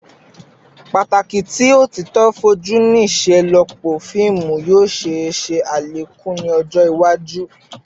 Pataki ti otito foju ni iṣelọpọ fiimu yoo ṣee ṣe alekun ni ọjọ iwaju